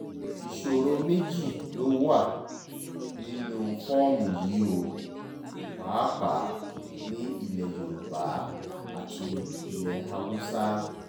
ìṣòro méjì ló wáá wà nínú fọ́ọ̀mù yìí o pàápàá ní ní ilẹ̀ yorùbá àti ilẹ̀ haúsá